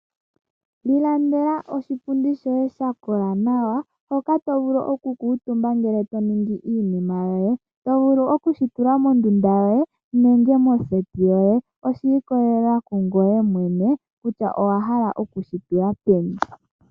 Ilandela oshipundi shoye sha kola nawa hoka to vulu okukutumba ngele to ningi iinima yoye. To vulu oku shi tula mondunda yoye nenge moseti yoye. Oshi ikolelela kungoye mwene kutya owa hala oku shi tula peni.